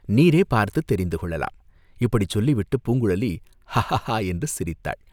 நீரே பார்த்துத் தெரிந்து கொள்ளலாம், இப்படிச் சொல்லிவிட்டுப் பூங்குழலி ஹாஹாஹா என்று சிரித்தாள்.